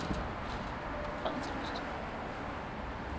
Fredenslyst